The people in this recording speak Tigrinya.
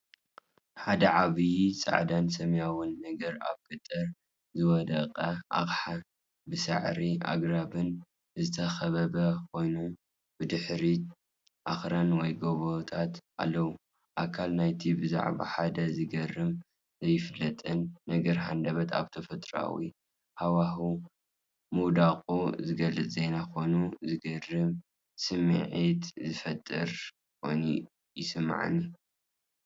ሓደ ዓብይ ጻዕዳን ሰማያውን ነገር ኣብ ገጠር ዝወደቐ ኣቕሓ፣ ብሳዕርን ኣግራብን ዝተኸበበ ኮይኑ፡ ብድሕሪት ኣኽራን ወይ ጎቦታት ኣለዎ። ኣካል ናይቲ ብዛዕባ ሓደ ዝገርምን ዘይፍለጥን ነገር ሃንደበት ኣብ ተፈጥሮኣዊ ሃዋህው ምውዳቑ ዝገልጽ ዜና ኮይኑ፡ዝገርም ስምዒት ዝፈጥር ኮይኑ ይስምዓኒ፡፡